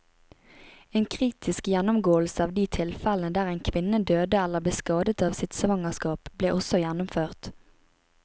En kritisk gjennomgåelse av de tilfellene der en kvinne døde eller ble skadet av sitt svangerskap, ble også gjennomført.